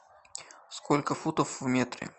сколько футов в метре